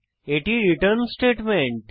এটি return statement